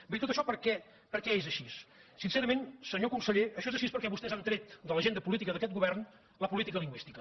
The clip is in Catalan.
bé i tot això per què és així sincerament senyor conseller això és així perquè vostès han tret de l’agenda política d’aquest govern la política lingüística